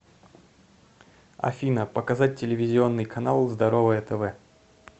афина показать телевизионный канал здоровое тв